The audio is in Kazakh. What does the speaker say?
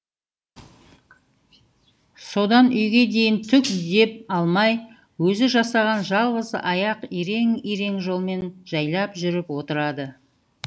содан үйге дейін түк дем алмай өзі жасаған жалғыз аяқ ирең ирең жолмен жайлап жүріп отырады